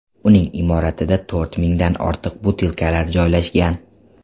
Uning imoratida to‘rt mingdan ortiq butilkalar joylashgan.